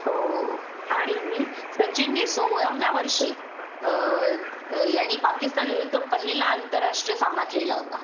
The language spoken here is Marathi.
हो आणि सचिननि सोळाव्या वर्षी अ अ यांनी पाकिस्तान विरुद्ध पहिला आंतरराष्ट्रीय सामना खेळला होता